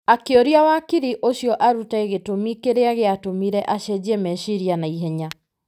akĩũria wakiri ũcio arute gĩtũmi kĩrĩa gĩatũmire acenjie meciria na ihenya.